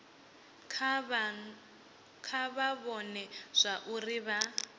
kha vha vhone zwauri vha